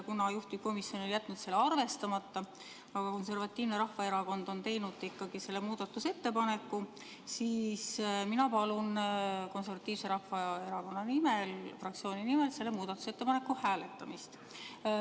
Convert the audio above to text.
Kuna juhtivkomisjon on jätnud selle arvestamata, aga Eesti Konservatiivne Rahvaerakond on selle muudatusettepaneku teinud, siis mina palun fraktsiooni nimel selle muudatusettepaneku hääletamist.